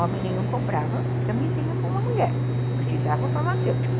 Homem nenhum comprava camisinha com uma mulher, precisava o farmacêutico.